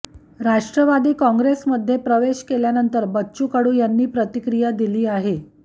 राष्ट्रवादी काँग्रेसमध्ये प्रवेश केल्यानंतर बच्चू कडू यांनी प्रतिक्रिया दिली आहे